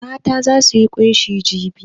Mata za su yi ƙunshi jibi.